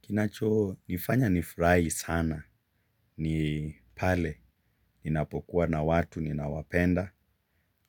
Kinacho nifanya nifurai sana ni pale ninapokuwa na watu ninaowapenda